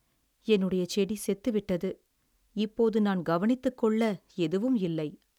என்னுடைய செடி செத்துவிட்டது, இப்போது நான் கவனித்துக்கொள்ள எதுவும் இல்லை.